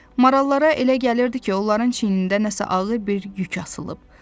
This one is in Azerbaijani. Marallara elə gəlirdi ki, onların çiynində nəsə ağır bir yük asılıb.